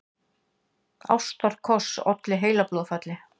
Ástarkoss olli heilablóðfalli